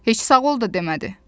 Heç sağ ol da demədi.